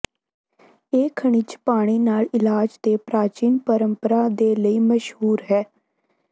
ਇਹ ਖਣਿਜ ਪਾਣੀ ਨਾਲ ਇਲਾਜ ਦੇ ਪ੍ਰਾਚੀਨ ਪਰੰਪਰਾ ਦੇ ਲਈ ਮਸ਼ਹੂਰ ਹੈ